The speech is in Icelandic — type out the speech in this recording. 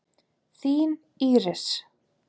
Þín, Íris.